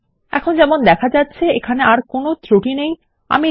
এখন আপনি যেমন দেখতে পাচ্ছেন এখানে একটি ত্রুটি রয়েছে আমি সফলভাবে আমার সেশন তৈরী করেছি